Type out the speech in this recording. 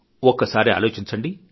ఒకసారి ఆలోచించండి